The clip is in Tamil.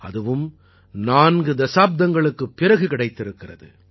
அதுவும் நான்கு தசாப்தங்களுக்குப் பிறகு கிடைத்திருக்கிறது